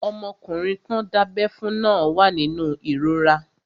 Ọmọkùnrin tán dábẹ́ fún náà wà nínú ìrora